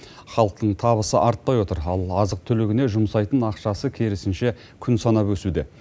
халықтың табысы артпай отыр ал азық түлігіне жұмсайтын ақшасы керісінше күн санап өсуде